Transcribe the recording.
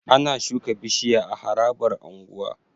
Ana shuka bishiya a harabar unguwa